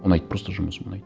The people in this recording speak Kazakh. ұнайды просто жұмысым ұнайды